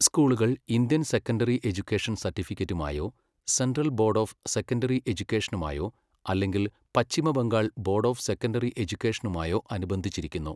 സ്കൂളുകൾ Indian secondary education സർട്ടിഫിക്കറ്റുമായോ central board of secondary എജ്യുക്കേഷനുമായോ അല്ലെങ്കിൽ Paschim Bengal board of secondary എജ്യുക്കേഷനുമായോ അനുബന്ധിച്ചിരിക്കുന്നു.